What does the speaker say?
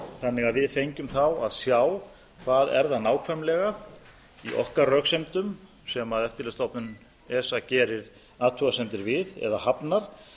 þannig að við fengjum að sjá hvað það er nákvæmlega í okkar röksemdum sem eftirlitsstofnunin esa gerir athugasemdir við eða hafnar